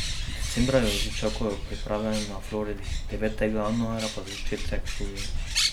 Decembra jo že čakajo priprave na Floridi, devetega januarja pa začetek študija.